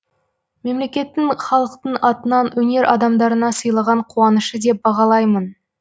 мемлекеттің халықтың атынан өнер адамдарына сыйлаған қуанышы деп бағалаймын